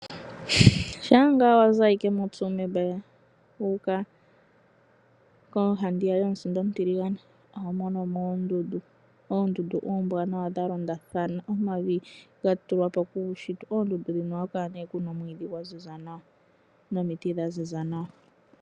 Shampa wa zi moTsumeb wu uka koohandiya yomusinda omutiligane, oho mono mo oondundu. Oondundu oombwanawa dha londathana, omavi ga tulwa po kuushitwe. Oondundu dhino ohaku kala ku na omwiidhi gwa ziza nawa nomiti dha ziza nawa.